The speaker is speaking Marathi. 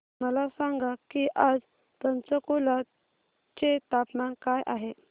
मला सांगा की आज पंचकुला चे तापमान काय आहे